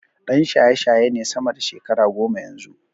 Ɗan shayeshaye ne sama da shekara goma yanzu.